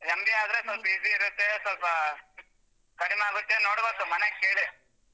MBA ಆದ್ರೆ ಸ್ವಲ್ಪ easy ಇರುತ್ತೆ ಸ್ವಲ್ಪ ಕಡಿಮೆ ಆಗುತ್ತೆ ನೋಡ್ಬೇಕು ಮನೇಗ್ ಕೇಳಿ.